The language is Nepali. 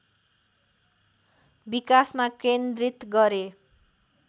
विकासमा केन्द्रित गरे